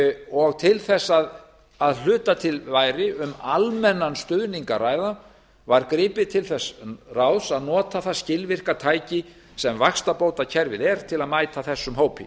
og til þess að að hluta til væri um almennan stuðning að ræða var gripið til þess ráðs að nota það skilvirka tæki sem vaxtabótakerfið er til að mæta þessum hópi